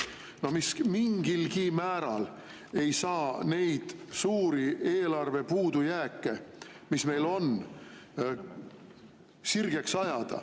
Need ei saa mingilgi määral sirgeks ajada neid suuri eelarve puudujääke, mis meil on.